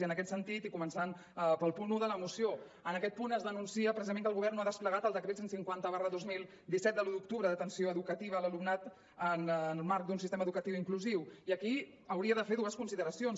i en aquest sentit i començant pel punt un de la moció en aquest punt es denuncia precisament que el govern no ha desplegat el decret cent i cinquanta dos mil disset del disset d’octubre d’atenció educativa a l’alumnat en el marc d’un sistema educatiu inclusiu i aquí hauria de fer dues consideracions